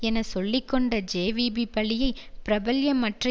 என சொல்லிக்கொண்ட ஜேவிபி பழியை பிரபல்யமற்ற